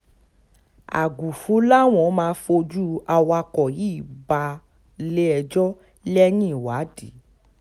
àgùfù làwọn máa fojú awakọ̀ yìí balé-ẹjọ́ lẹ́yìn ìwádìí